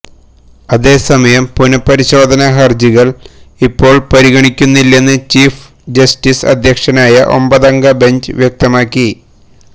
അതേ സമയം പുനഃപരിശോധനാ ഹര്ജികള് ഇപ്പോള് പരിഗണിക്കില്ലെന്ന് ചീഫ് ജസ്റ്റിസ് അധ്യക്ഷനായ ഒമ്പതംഗ ബെഞ്ച് വ്യക്തമാക്കി